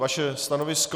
Vaše stanovisko?